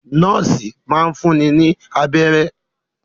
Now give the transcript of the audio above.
Nọ́ọ́sì máa n fúnni ní abẹ́rẹ́.